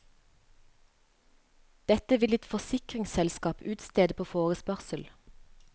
Dette vil ditt forsikringsselskap utstede på forespørsel.